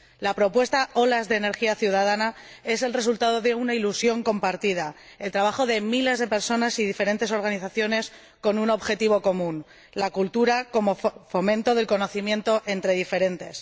La propuesta Olas de energía ciudadana es el resultado de una ilusión compartida, el trabajo de miles de personas y diferentes organizaciones con un objetivo común la cultura como fomento del conocimiento entre diferentes.